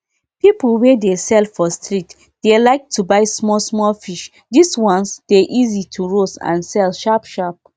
peolpe wey dey sell for street dey like to buy small small fish this ones dey easy to roast and sell sharp sharp